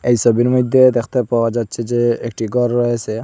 এই ছবির মইধ্যে দেখতে পাওয়া যাচ্ছে যে একটি গর রয়েসে ।